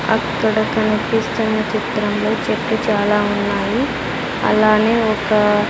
అక్కడ కనిపిస్తున్న చిత్రంలో చెట్లు చాలా ఉన్నాయి అలానే ఒక.